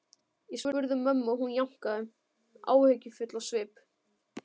Ég spurði mömmu og hún jánkaði, áhyggjufull á svip.